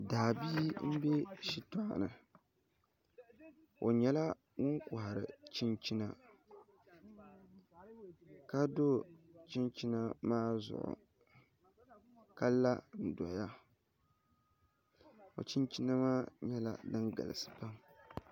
Daabia n bɛ shitoɣu ni o nyɛla ŋun kohari chinchina ka do chinchina maa zuɣu ka la n doya o chinchina maa nyɛla din galisi pam